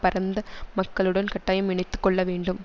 பரந்த மக்களுடன் கட்டாயம் இணத்துக் கொள்ளவேண்டும்